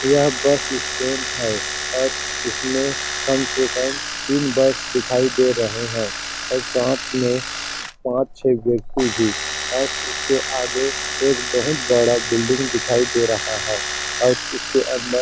यह bus stand है और इसमें कम से कम तीन बस दिखाई दे रहें है और साथ में पांच -छे व्यक्ति भी और उसके आगे एक बहुत बड़ा बिल्डिंग दिखाई दे रहा है और उसके अंदर--